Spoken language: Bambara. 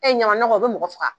E ɲama nɔgɔ, o bɛ mɔgɔ faga.